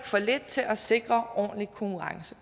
for lidt til at sikre ordentlig konkurrence